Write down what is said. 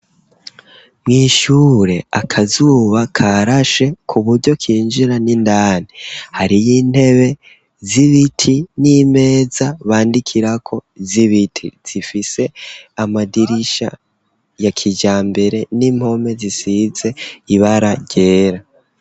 Mwishure akazuba karashe kuburyo kinjira n'indani .Hariyi intebe z'ibiti n'imeza bandikirako zibiti zifise amadirisha ya kijambere n'impome zisize ibara ryera.